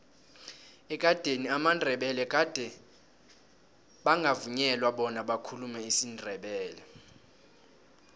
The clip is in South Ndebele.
ekadeni amandebele gade bangavunyelwa bona bakhulume isindebele